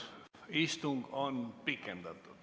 Istung on pikendatud.